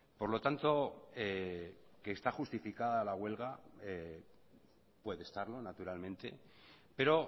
por lo tanto que está justificada la huelga puede estarlo naturalmente pero